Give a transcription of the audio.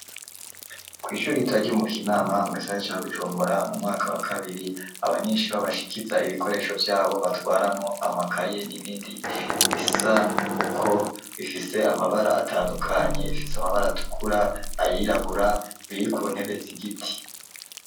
Kw'ishuri itaryaumu kinama mw'isaa ca bujumbora mu mwaka wa kabiri abanyenshi babashikiza ibikoresho vyabo batwaramo amakaye n'ibindi bisa uko bifise amabara atandukanye bifise amabara atukura ayirabura biri ku ntebe zi igiti.